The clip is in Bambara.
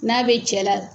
N'a bɛ cɛ la